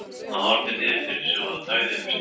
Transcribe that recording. Hann horfði niður fyrir sig og þagði um stund.